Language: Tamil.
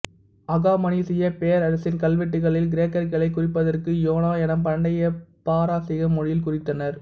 அகாமனிசியப் பேரரசின் கல்வெட்டுகளில் கிரேக்கர்களை குறிப்பதற்கு யோனா என பண்டைய பாரசீக மொழியில் குறித்தனர்